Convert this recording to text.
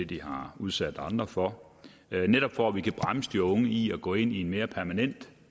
de har udsat andre for netop for at vi kan bremse de unge i at gå ind i en mere permanent